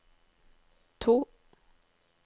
to